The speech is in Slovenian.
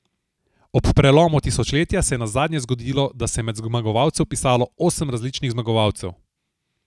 Ob prelomu tisočletja se je nazadnje zgodilo, da se je med zmagovalce vpisalo osem različnih zmagovalcev.